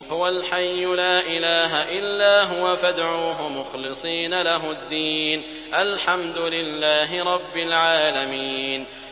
هُوَ الْحَيُّ لَا إِلَٰهَ إِلَّا هُوَ فَادْعُوهُ مُخْلِصِينَ لَهُ الدِّينَ ۗ الْحَمْدُ لِلَّهِ رَبِّ الْعَالَمِينَ